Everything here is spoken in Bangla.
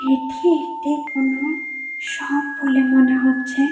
এটি একটি কোন শপ বলে মনে হচ্ছে।